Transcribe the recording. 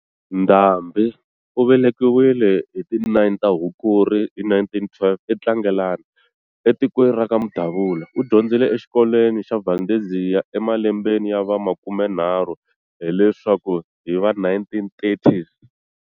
Ndhambi u velekiwile hi ti 09 ta Hukuri hi 1912 e Tlangelani, etikweni ra ka Mudabula. U dyondzile exikolweni xa Valdezia emelembeni ya va makumenharhu, hi leswaku hi va, 1930's.